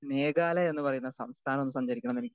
speaker 2 Meghalaya എന്നുപറയുന്ന സംസ്ഥാനം സഞ്ചരിക്കണമെന്ന് എനിക്ക്